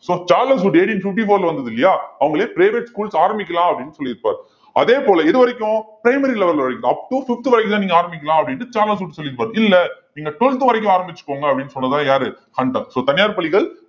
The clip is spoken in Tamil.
so Charles Wood eighteen fifty-four ல வந்தது இல்லையா அவங்களே private schools ஆரம்பிக்கலாம் அப்படின்னு சொல்லியிருப்பார் அதே போல இது வரைக்கும் primary level ல up to fifth வரைக்கும் தான் நீங்க ஆரம்பிக்கலாம் அப்படின்னுட்டு சார்லஸ் வுட் சொல்லியிருப்பாரு இல்லை நீங்க twelfth வரைக்கும் ஆரம்பிச்சுக்கோங்க அப்படின்னு சொன்னதெல்லாம் யாரு ஹண்டர் so தனியார் பள்ளிகள்